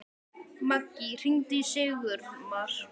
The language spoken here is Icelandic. Maggý, hringdu í Sigurmar.